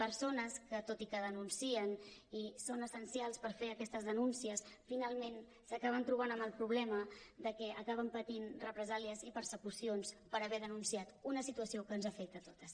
persones que tot i que denuncien i són essencials per fer aquestes denúncies finalment s’acaben trobant amb el problema de que acaben patint represàlies i persecucions per haver denunciat una situació que ens afecta a totes